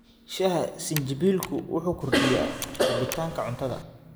Shaaha sinjibiilku wuxuu kordhiyaa rabitaanka cuntada.